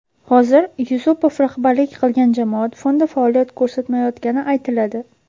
Hozir Yusupov rahbarlik qilgan jamoat fondi faoliyat ko‘rsatmayotgani aytiladi.